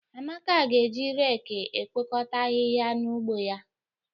Amaka ga-eji reki ekpokọta ahịhịa n'ugbo ya.